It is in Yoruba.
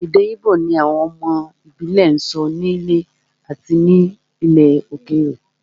Èdè Igbo ni àwọn ọmọ ìbílẹ̀ ń sọ nílé àti ní ilẹ̀ òkèèrè